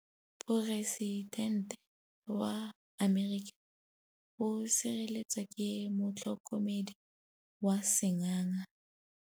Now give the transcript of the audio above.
Poresitêntê wa Amerika o sireletswa ke motlhokomedi wa sengaga.